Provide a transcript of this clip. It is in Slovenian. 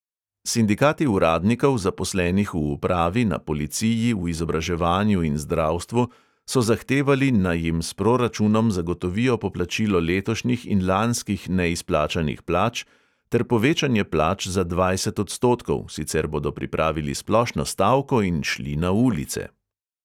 Sindikati uradnikov, zaposlenih v upravi, na policiji, v izobraževanju in zdravstvu, so zahtevali, naj jim s proračunom zagotovijo poplačilo letošnjih in lanskih neizplačanih plač ter povečanje plač za dvajset odstotkov, sicer bodo pripravili splošno stavko in šli na ulice.